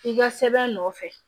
I ka sɛbɛn nɔfɛ